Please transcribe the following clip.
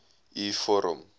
u vorm